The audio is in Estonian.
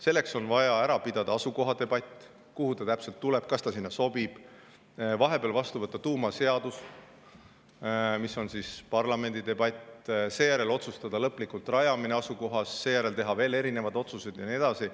Selleks on vaja ära pidada asukohadebatt selle üle, kuhu see täpselt tuleb, kas see sinna sobib, vahepeal vastu võtta tuumaseadus, mis on parlamendi debati, seejärel otsustada lõplikult rajamine asukohas, seejärel teha veel erinevaid otsuseid ja nii edasi.